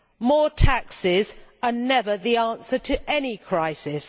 More taxes are never the answer to any crisis.